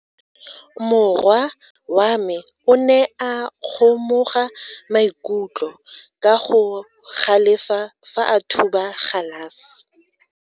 Morwa wa me o ne a kgomoga maikutlo ka go galefa fa a thuba galase.